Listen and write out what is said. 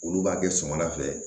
Olu b'a kɛ suman fɛ